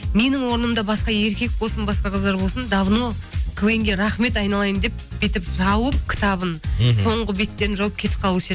менің орнымда басқа еркек болсын басқа қыздар болсын давно квн ге рахмет айналайын деп бүйтіп жауып кітабын соңғы беттерін жауып кетіп қалушы еді